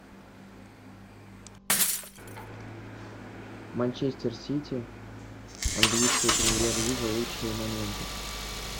манчестер сити английская премьер лига лучшие моменты